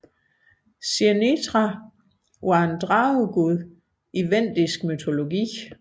Zirnitra var en dragegud i vendisk mytologi